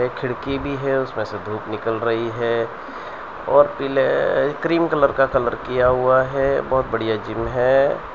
खिड़की भी है उसमें से धूप निकल रही है और पीले क्रीम कलर का कलर किया हुआ है बहुत बढ़िया जिम है।